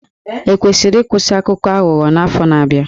E kwesịrị ịkwụsị Akụkọ Aghụghọ n'afọ na-abịa?